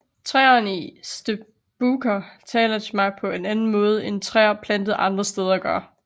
Træerne i Sde Boker taler til mig på en anden måde end træer plantet andre steder gør